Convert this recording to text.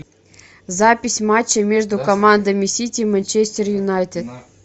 запись матча между командами сити и манчестер юнайтед